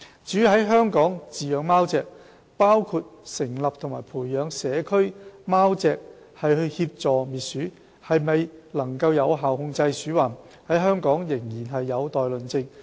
至於在香港飼養貓隻，包括成立和培養社區貓隻協助滅鼠，是否能有效控制鼠患，在香港仍然有待論證。